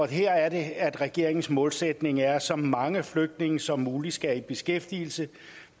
her er det at regeringens målsætning er at så mange flygtninge som muligt skal i beskæftigelse